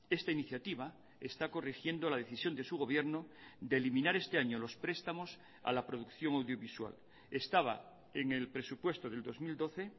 esta iniciativa está corrigiendo la decisión de su gobierno de eliminar este año los prestamos a la producción audiovisual estaba en el presupuesto del dos mil doce